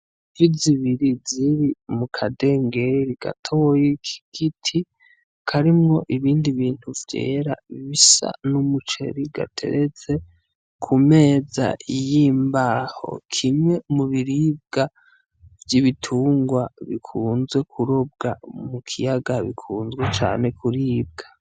Ifi zibiri mu kadengeri gatoyi k'igiti karimwo ibindi bintu vyera bisa n'umuceri gateretse k'umeza yimbaho , kimwe mu biribwa vyibitungwa bikunze kurobwa mu kiyaga bikunzwe cane kuribwa.